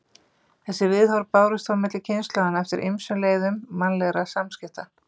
Þessi viðhorf bárust þó milli kynslóðanna eftir ýmsum leiðum mannlegra samskipta.